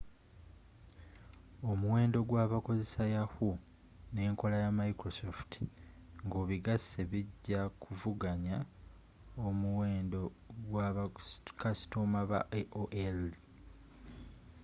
omuwendo gwabakozesa yahoo n'enkola ya microsft nga obigase bijja kuvuganya omuweno gwa ba kasitoma ba aol's